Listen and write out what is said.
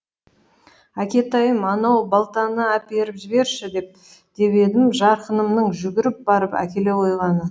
әкетайым анау балтаны әперіп жіберші деп едім жарқынымның жүгіріп барып әкеле қойғаны